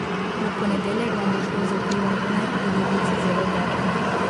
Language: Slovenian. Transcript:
V ponedeljek vam bo šlo z vplivom lune v devici zelo dobro.